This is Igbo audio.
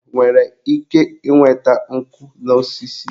Enwere ike ịnweta nkụ n'osisi?